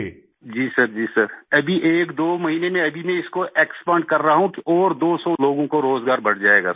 मंजूर जी जी सरजी सरअभी एक दो महीनें में इसको एक्सपैंड कर रहा हूँ और 200 लोगों को रोज़गार बढ़ जाएगा सर